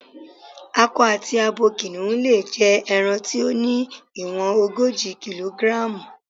Akọ àti abo kìnìhún lè jẹ ẹran tí ó ní ìwọ̀n ogójì kílógíráàmù.